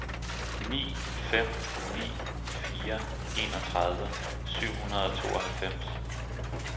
ni fem ni fire enogtredive syv hundrede og tooghalvfems